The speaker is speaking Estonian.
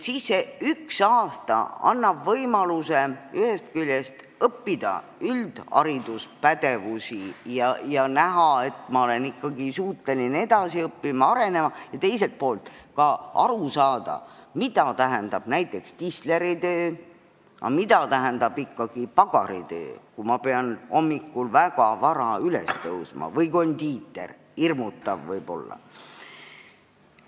See üks aasta annab võimaluse ühest küljest omandada üldhariduspädevusi ja näha, et ma olen ikkagi suuteline edasi õppima ja arenema, ning teiselt poolt võimaldab see ka aru saada, mida tähendab näiteks tisleri töö või mida tähendab ikkagi pagari või kondiitri töö, kui peab hommikul väga vara üles tõusma, sest see võib hirmutav olla.